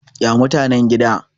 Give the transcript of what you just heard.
ya mutanen gida?